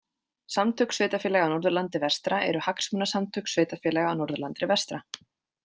Samtök sveitarfélaga á Norðurlandi vestra eru hagsmunasamtök sveitarfélaga á Norðurlandi vestra